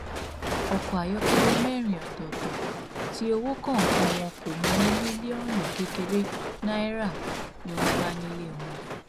ọkọ ayọkẹlẹ mẹrin ọtọọtọ tí owó ọkọọkan wọn kò mọ ní mílíọnù kékeré náírà ni wọn bá nílé wọn